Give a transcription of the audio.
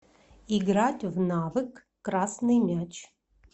играть в навык красный мяч